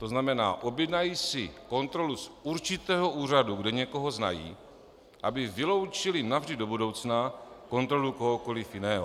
To znamená, objednají si kontrolu z určitého úřadu, kde někoho znají, aby vyloučili navždy do budoucna kontrolu kohokoliv jiného.